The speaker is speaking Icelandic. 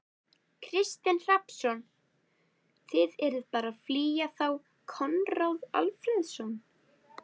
Kristinn Hrafnsson: Þið eruð bara að flýja þá Konráð Alfreðsson?